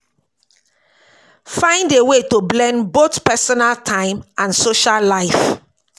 Find a way to blend both personal time and social life